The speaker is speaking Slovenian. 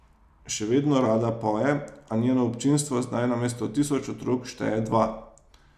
Še vedno rada poje, a njeno občinstvo zdaj namesto tisoč otrok šteje dva.